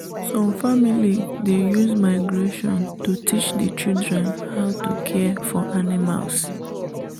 some family dey use migration to teach the children how to care for animals